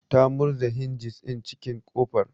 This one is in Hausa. Ta murza hinjis din cikin kofar